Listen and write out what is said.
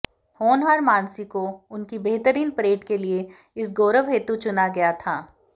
होनहार मानसी को उनकी बेहतरीन परेड के लिए इस गौरव हेतु चुना गया था